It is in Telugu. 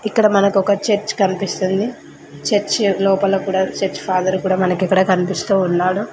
ఇక్కడ మనకొక చర్చ్ కన్పిస్తుంది చర్చి లోపల కూడా చర్చ్ ఫాదర్ కూడా మనకిక్కడ కన్పిస్తూ ఉన్నాడు.